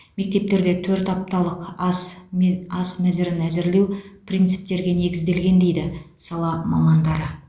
мектептерде төрт апталық ас мез ас мәзірін әзірлеу принциптерге негізделген дейді сала мамандары